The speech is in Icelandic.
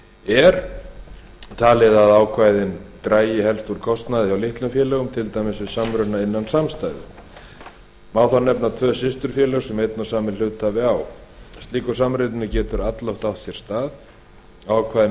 er talið að ákvæðin dragi helst úr kostnaði hjá litlum félögum til dæmis við samruna innan samstæðu má þar nefna tvö systurfélög sem einn og sami hluthafi á slíkur samruni getur alloft átt sér stað